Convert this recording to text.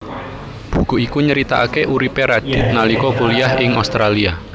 Buku iku nyeritakaké uripé Radith nalika kuliah ing Australia